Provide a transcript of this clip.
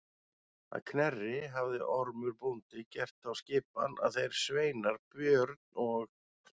Að Knerri hafði Ormur bóndi gert þá skipan að þeir sveinar Björn og